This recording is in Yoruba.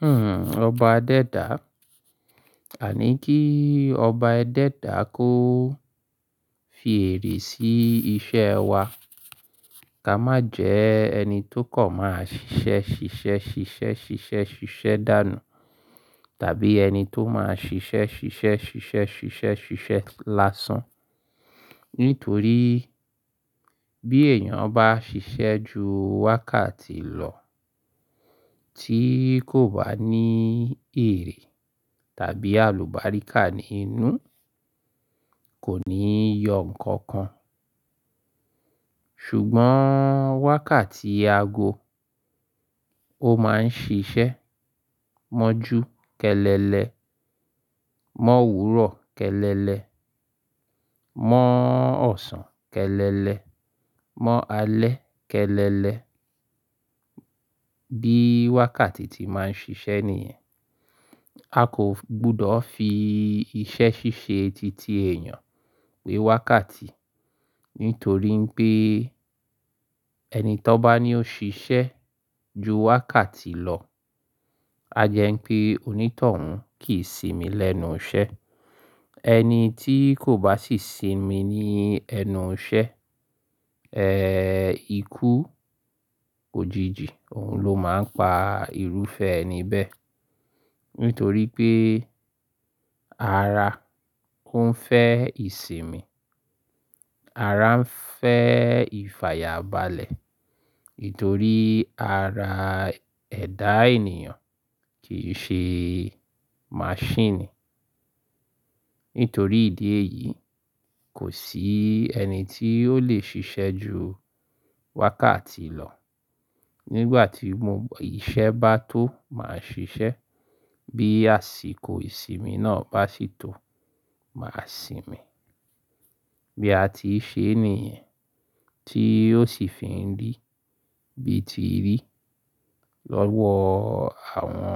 Hmm, ọba adẹ́dà. A ní kí ọba ẹ dẹ́dà kó fi èrè sí iṣẹ́ wa, ká má jẹ ẹni tó kọ̀ máa ṣiṣẹ́ ṣiṣẹ́ ṣiṣẹ́ ṣiṣẹ́ ṣiṣẹ́ dànù, tàbí ẹni tó máa ṣiṣẹ́ ṣiṣẹ́ ṣiṣẹ́ ṣiṣẹ́ ṣiṣẹ́ lásán. Nítorí bí èèyàn bá ṣiṣẹ́ ju wákàtì lọ tí kò bá ní èrè tàbí àlùbáríkà nínú, kò ní yọ ǹkankan. Ṣùgbọ́n wákàtí ago ó máa ń ṣiṣẹ́ mọju kẹ́lẹ́lẹ mọ òwúrọ̀ kẹ́lẹ́lẹ mọ ọ̀sán kẹ́lẹ́lẹ mọ alẹ kẹ́lẹ́lẹ. Bí wákàtì tí máa ń ṣiṣẹ́ nìyẹn. Akọ gbudọ̀ fi ìsẹ ṣíṣe títí èèyàn we wákàtí. Nítorí pé ẹni tọ bá ní ó ṣiṣẹ́ ju wákàtì lọ, a jẹ́ ń pé onítọ̀hún kì í sinmi lẹ́nu iṣẹ́. Ẹni tí kò bá sì sinmi ní ẹnu iṣẹ́, ẹ́, ikú òjìji òun ló máa ń pa irúfẹ́ ẹni bẹ́ẹ̀. Nítorí pé ara kún fẹ́ ìsinmi, ara ń fẹ́ ìfàyàbalẹ̀. Nítorí ara ẹ̀dá ènìyàn kì í ṣe maṣhinnì. Nítorí ìdí èyí, kò sí ẹni tí ò le ṣiṣẹ́ ju wákàtì lọ. Nígbà tí mo iṣẹ́ bá tó máa ṣiṣẹ́, bí àsìkò ìsinmi náà bá sì tó, màá sinmi. Bí a ti ṣe é nìyẹn tí ò sì fi ń rí bí ti rí lọ́wọ́ àwọn